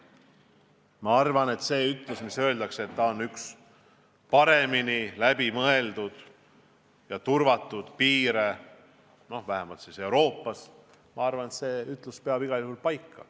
Ma arvan, et kui on öeldud, et see on üks kõige paremini läbi mõeldud ja turvatud piire, vähemalt Euroopas, siis see ütlus peab igal juhul paika.